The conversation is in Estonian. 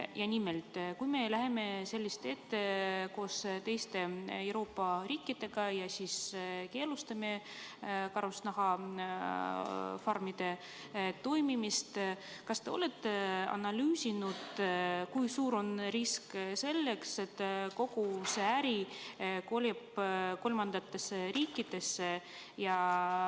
Ja nimelt: kui me läheme seda teed koos teiste Euroopa riikidega ja keelustame karusloomafarmide toimimise, kas te olete analüüsinud, kui suur on risk, et kogu see äri kolib kolmandatesse riikidesse?